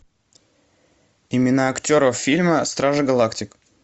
имена актеров фильма стражи галактики